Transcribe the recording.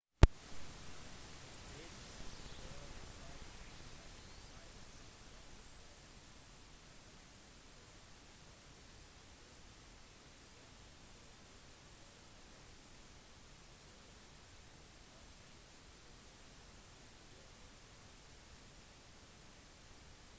fasene oppstår siden kun den siden av venus eller månen som vender mot solen er opplyst. fasene til venus blir støttet av copernicus sin teori om at planetene sirkulerer rundt solen